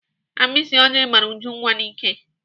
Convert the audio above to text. Agbịsị oji gbara Ujunwa n'íkè